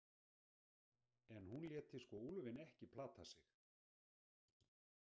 En hún léti sko úlfinn ekki plata sig.